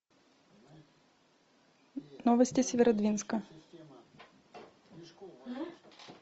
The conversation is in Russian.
новости северодвинска